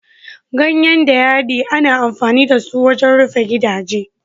Ganyen dayadii ana amfani da su wajen rufe gidaje.